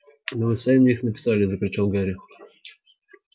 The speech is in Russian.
но вы сами их написали закричал гарри